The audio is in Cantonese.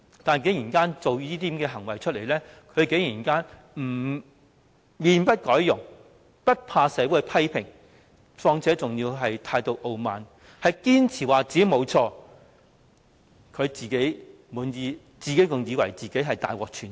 況且，她作出這些行為之後，竟然可以面不改容，無懼社會的批評，還要態度傲慢，堅持自己沒有錯，以為自己大獲全勝。